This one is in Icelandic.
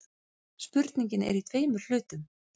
Spurningin er í tveimur hlutum.